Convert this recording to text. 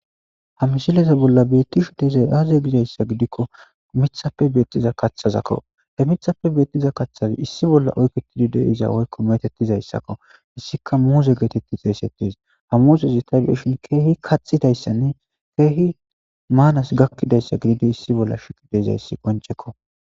Ha misileza bolla beettishe dizay aaze gizayssa gidikko miththappe beetiza kaththzakko. He miththappe beetiza kaththazi issi bolla oyikketidi de'iza woykko meetettizayssakko. Hessikka muuze geetetti xeysetees. Ha muuzez tay be'ishin keehi kaxxidayssanne keehi maanas gakkidayssa bessishe dizayssi qoncceko.